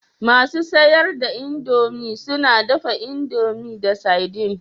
Masu siyar da indomie suna dafa indomie da sardine